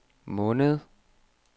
måned